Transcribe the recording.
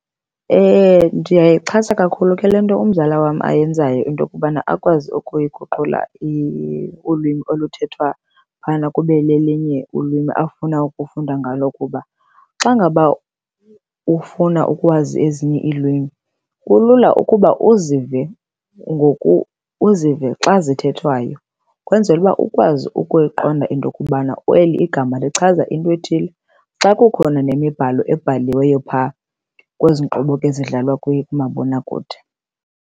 Ndiyayixhasa kakhulu ke le nto umzala wam ayenzayo intokubana akwazi ukuyiguqula ulwimi oluthethwa phayana kube lelinye ulwimi afuna ukufunda ngalo kuba xa ngaba ufuna ukwazi ezinye iilwimi kulula ukuba uzive , uzive xa zithethwayo ukwenzele uba ukwazi ukuyiqonda intokubana eli igama lichaza intwethile. Xa kukhona nemibhalo ebhaliweyo pha kwezi nkqubo ke zidlalwa kumabonakude.